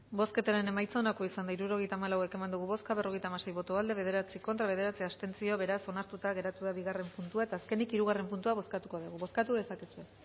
bozketaren emaitza onako izan da hirurogeita hamalau eman dugu bozka berrogeita hamasei boto aldekoa bederatzi contra bederatzi abstentzio beraz onartuta geratu da bigarren puntua eta azkenik hirugarren puntua bozkatuko dugu bozkatu dezakezue